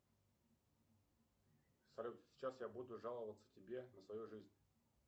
салют сейчас я буду жаловаться тебе на свою жизнь